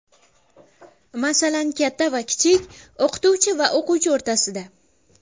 Masalan, katta va kichik, o‘qituvchi va o‘quvchi o‘rtasida.